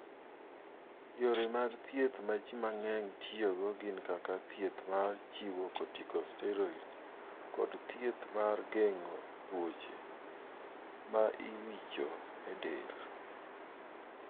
Yore mag thieth ma ji mang�eny tiyogo gin kaka thieth mar chiwo corticosteriods kod thieth mar geng'o tuoche (ma iwicho e del).